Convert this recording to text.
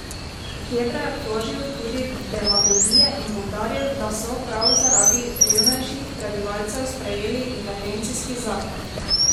Kebra je obtožil tudi demagogije in poudaril, da so prav zaradi revnejših prebivalcev sprejeli intervencijski zakon.